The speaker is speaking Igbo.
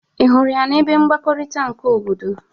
Ị hụrụ ya n'ebe mgbakọrịta nke obodo?